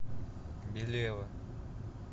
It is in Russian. белева